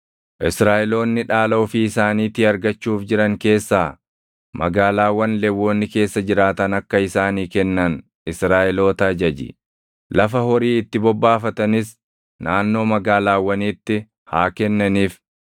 “Israaʼeloonni dhaala ofii isaaniitii argachuuf jiran keessaa magaalaawwan Lewwonni keessa jiraatan akka isaanii kennan Israaʼeloota ajaji. Lafa horii itti bobbaafatanis naannoo magaalaawwaniitti haa kennaniif.